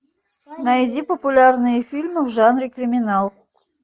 найди популярные фильмы в жанре криминал